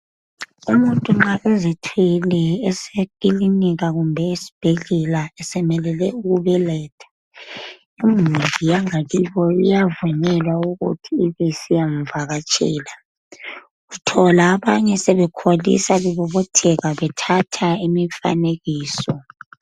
Umuntu nxa ezithwele esekilinika kumbe esibhedlela esemelele ukubeletha imuli yangakibo iyavunyelwa ukuthi ibisiyamvakatshela. Uthola abanye sebekholisa bebobotheka bethatha imifanekiso.